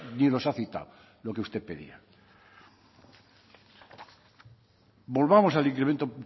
ni los ha citado lo que usted pedía volvamos al incremento